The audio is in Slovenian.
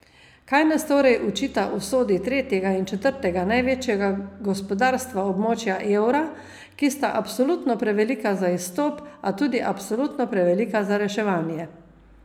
Kaj nas torej učita usodi tretjega in četrtega največjega gospodarstva območja evra, ki sta absolutno prevelika za izstop, a tudi absolutno prevelika za reševanje?